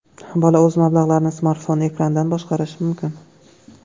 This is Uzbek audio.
Bola o‘z mablag‘larini smartfon ekranidan boshqarishi mumkin.